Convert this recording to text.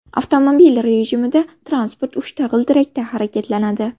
Avtomobil rejimida transport uchta g‘ildirakda harakatlanadi.